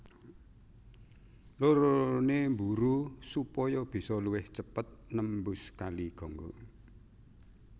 Loro lorone mburu supaya bisa luwih cepet nembus Kali Gangga